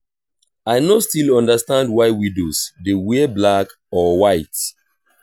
i no still understand why widows dey wear black or white